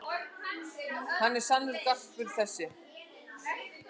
Hann er sannur garpur þessi.